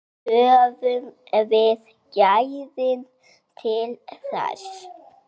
Höfum við gæðin til þess?